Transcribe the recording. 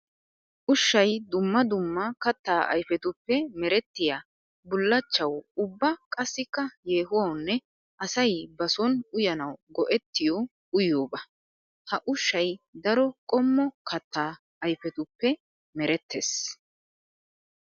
Ushshay dumma dumma katta ayfetuppe merettiya bulachchawu ubba qassikka yehuwawunne asay ba son uyanawu go'ettiyo uyiyooba. Ha ushshay daro qommo katta ayfettuppe meretees.